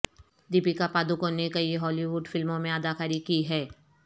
دیپکا پاڈوکون نے کئی Hollywood فلموں میں اداکاری کی ہے